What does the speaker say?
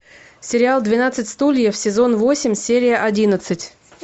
сериал двенадцать стульев сезон восемь серия одиннадцать